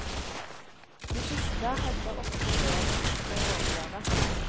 De siste hadde ofte mer en nok med å overleve.